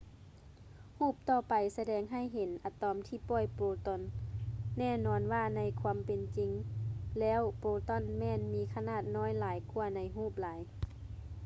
ຮູບຕໍ່ໄປສະແດງໃຫ້ເຫັນອະຕອມທີ່ປ່ອຍໂປຣຕອນ ແນ່ນອນວ່າໃນຄວາມເປັນຈິງແລ້ວໂປຣຕອນແມ່ນມີຂະໜາດນ້ອຍຫຼາຍກ່ວາໃນຮູບຫຼາຍ